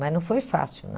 Mas não foi fácil,